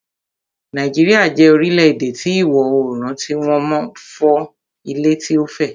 Nàìjíríà jẹ́ orílẹ̀-èdè ti ìwọ oorùn tí wọ́n mọ ń fún ilẹ̀ tí ó fẹ̀